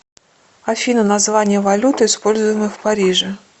афина название валюты используемой в париже